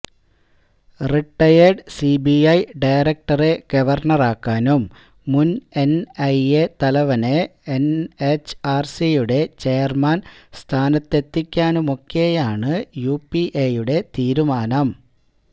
retired CBI ഡയറക്റ്ററെ ഗവര്ണറാക്കാനും മുന് എന്ഐഎ തലവനെ എന്എച്ച്ആര്സിയുടെ ചെയര്മാന് സ്ഥാനത്തെത്തിക്കാനുമൊക്കെയാണ് യുപിഎയുടെ തീരുമാനം